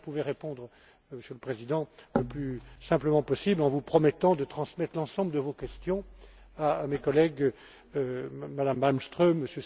Voilà ce que je pouvais répondre, Monsieur le Président, le plus simplement possible, en vous promettant de transmettre l'ensemble de vos questions à mes collègues, Mme Malmström,